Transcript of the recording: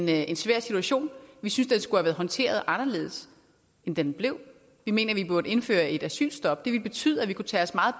det er en svær situation vi synes den skulle have været håndteret anderledes end den blev vi mener at vi burde indføre et asylstop det ville betyde at vi kunne tage os meget